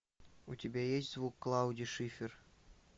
у тебя есть звук клаудии шиффер